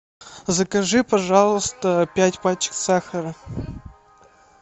закажи пожалуйста пять пачек сахара